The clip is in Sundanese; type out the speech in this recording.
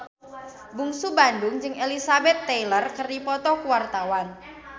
Bungsu Bandung jeung Elizabeth Taylor keur dipoto ku wartawan